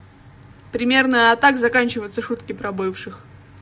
примерно а так заканчивается шутки про бывших